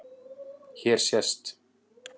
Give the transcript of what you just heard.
Hér sést